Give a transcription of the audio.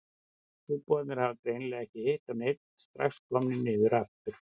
Trúboðarnir hafa greinilega ekki hitt á neinn, strax komnir niður aftur.